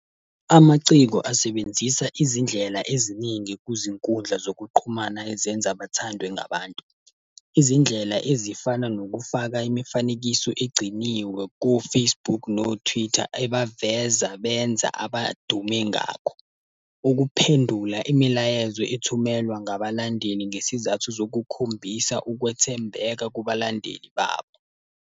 Amaciko asebenzisa izindlela eziningi kuzinkundla zokuxhumana ezenza bathandwe ngabantu. Izindlela ezifana nokufaka imifanekiso egciniwe ko-Facebook no-Twitter ebaveza benza abadume ngakho. Ukuphendula imilayezo ethumelwa ngabalandeli ngesizathu zokukhombisa ukwethembeka kubalandeli babo.